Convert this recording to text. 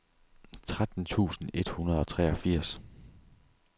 tretten tusind et hundrede og treogfirs